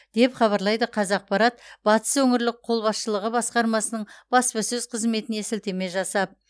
деп хабарлайды қазақпарат батыс өңірлік қолбасшылығы басқармасының баспасөз қызметіне сілтеме жасап